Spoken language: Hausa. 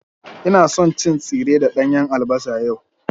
Ina son cin tsire da danyen albasa yau.